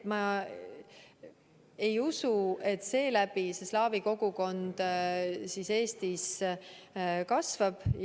Ma ei usu, et seeläbi slaavi kogukond Eestis kasvab.